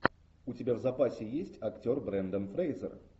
у тебя в запасе есть актер брендан фрейзер